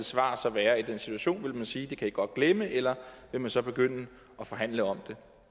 svar så være i den situation vil man sige at det kan i godt glemme eller vil man så begynde at forhandle om